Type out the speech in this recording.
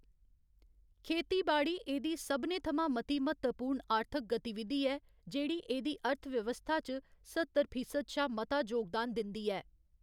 खेतीबाड़ी एह्‌दी सभनें थमां मती म्हत्तवपूर्ण आर्थिक गतिविधि ऐ जेह्ड़ी एह्‌दी अर्थव्यवस्था च सत्तर फीसद शा मता योगदान दिंदी ऐ।